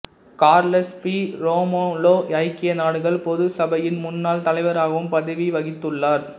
Carlos P Romulo ஐக்கிய நாடுகள் பொதுச் சபையின் முன்னாள் தலைவராகவும் பதவி வகித்துள்ளார்